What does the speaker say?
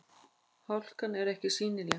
Hálkan er ekki sýnileg